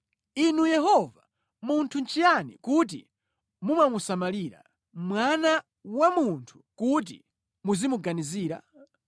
Inu Yehova, munthu nʼchiyani kuti mumamusamalira, mwana wa munthu kuti muzimuganizira?